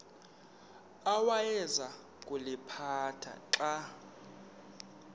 awayeza kuliphatha xa